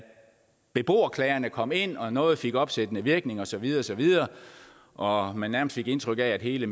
beboerklagerne kom ind og noget fik opsættende virkning og så videre og så videre og man nærmest fik indtryk af at hele